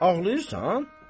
Ağlayırsan?